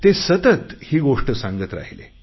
ते सतत ही गोष्ट सांगत राहीले